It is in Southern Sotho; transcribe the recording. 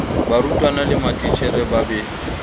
barutwana le matitjhere ba be